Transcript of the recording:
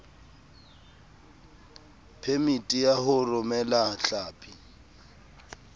phemiti ya ho romela hlapi